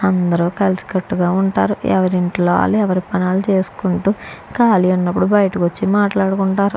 అందరూ కలిసి కట్టుగా ఉంటారు. ఎవరింట్లో ఆళ్ళు ఎవరు పని వాళ్ళు చేసుకుంటూ ఖాళీ ఉన్నప్పుడు బయటకు వచ్చి మాట్లాడుకుంటారు.